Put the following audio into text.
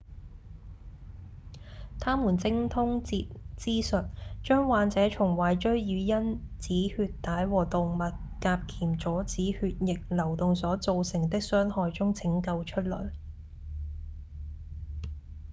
他們精通截肢術將患者從壞疽與因止血帶和動脈夾鉗阻止血液流動所造成的傷害中拯救出來